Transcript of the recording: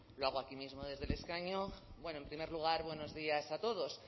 lo hago aquí mismo desde el escaño bueno en primer lugar buenos días a todos